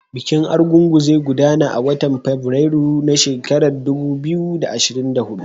Bikin Argungu zai gudana a watan Fabrairu na shekarar dubu biyu da ashirin da hudu.